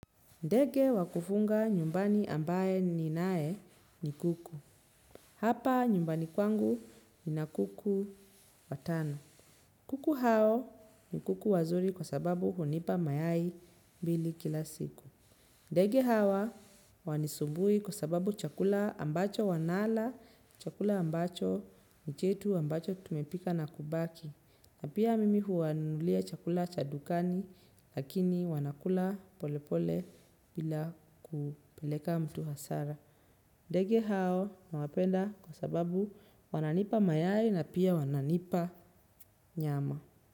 Ndege wa kufunga nyumbani ambaye ninae ni kuku. Hapa nyumbani kwangu nina kuku watano. Kuku hao ni kuku wazuri kwa sababu hunipa mayai mbili kila siku. Ndege hawa hawanisumbui kwa sababu chakula ambacho wanala, chakula ambacho ni chetu ambacho tumepika na kubaki. Na pia mimi huwanunulia chakula cha dukani lakini wanakula polepole bila kupeleka mtu hasara. Ndege hao nawapenda kwa sababu wananipa mayari na pia wananipa nyama.